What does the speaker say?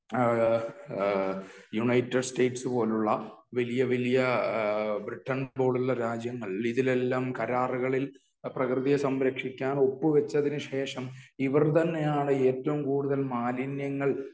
ഏ ഏ United States പോലുള്ള വലിയ വലിയ ബ്രിടൈൻ പോലുള്ള രാജ്യങ്ങൾ ഇതിലെല്ലാം കരാറുകളിൽ പ്രകൃതിയെ സംരക്ഷിക്കാൻ ഒപ്പ് വച്ചതിന് ശേഷം ഇവര് തന്നെയാണ് ഏറ്റവും കൂടുതൽ മാലിന്യങ്ങൾ